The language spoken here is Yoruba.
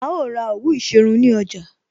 A ó ra òwú ìṣerun ní ọjà